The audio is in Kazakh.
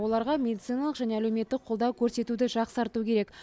оларға медициналық және әлеуметтік қолдау көрсетуді жақсарту керек